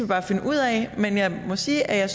bare finde ud af men jeg må sige at jeg